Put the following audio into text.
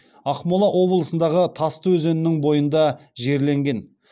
ақмола облысындағы тасты өзенінің бойында жерленген